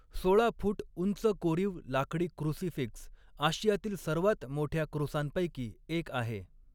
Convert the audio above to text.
सोळा फूट उंच कोरीव लाकडी क्रूसीफिक्स आशियातील सर्वात मोठ्या क्रुसांपैकी एक आहे.